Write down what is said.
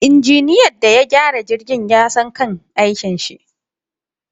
Injiniyan da ya gyara jirgin yasan kan aikinshi